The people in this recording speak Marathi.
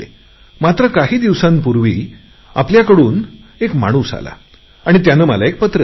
मात्र काही दिवसांपूर्वी आपला कोणी एक माणूस आला आणि त्याने एक पत्र दिले